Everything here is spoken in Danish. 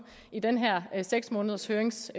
i den her seks månedershøringsfase